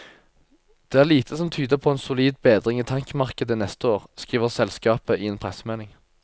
Det er lite som tyder på en solid bedring i tankmarkedet neste år, skriver selskapet i en pressemelding.